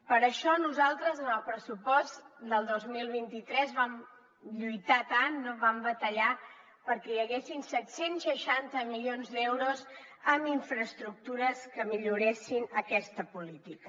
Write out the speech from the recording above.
per això nosaltres en el pressupost del dos mil vint tres vam lluitar tant no vam batallar perquè hi haguessin set cents i seixanta milions d’euros en infraestructures que milloressin aquesta política